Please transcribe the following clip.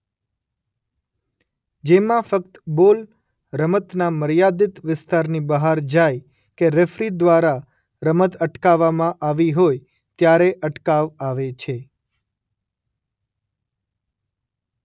જેમાં ફક્ત બોલ રમતના મર્યાદિત વિસ્તારની બહાર જાય કે રેફરી દ્વારા રમત અટકાવવામાં આવી હોય ત્યારે અટકાવ આવે છે.